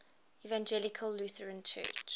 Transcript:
evangelical lutheran church